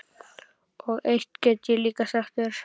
Og eitt get ég líka sagt þér